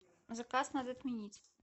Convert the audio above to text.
заказ надо отменить